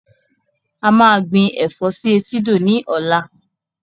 A máa gbìn Ẹ̀fọ́ sì etídò ni ọ̀la